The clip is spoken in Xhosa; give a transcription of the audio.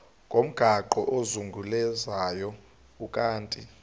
ngomgaqo ozungulezayo ukanti